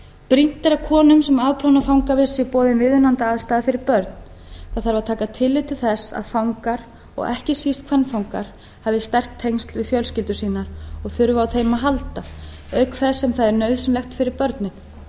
brýnt er að konum sem afplána fangavist sé boðin viðunandi aðstaða fyrir börn það þarf að taka tillit til þess að fangar og ekki síst kvenfangar hafi sterk tengsl við fjölskyldu sína og þurfi að þeim að halda auk þess sem það er nauðsynlegt fyrir börnin það